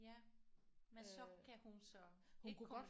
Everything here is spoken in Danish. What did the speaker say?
Ja men så kan hun så ikke